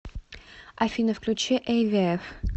афина включи эйвиэф